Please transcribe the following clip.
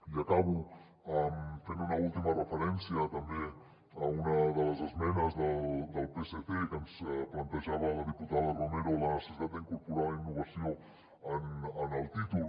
i acabo fent una última referència també a una de les esmenes del psc que ens plantejava la diputada romero a la necessitat d’incorporar la innovació en el títol